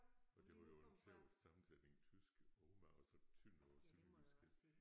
Og det var jo en sjov sammensætning tysk jo Oma og så Tønder på sønderjysk ik